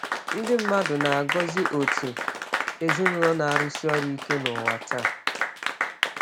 Ndị mmadụ na-agọzi òtù ezinụlọ na-arụsi ọrụ ike n’ụwa taa.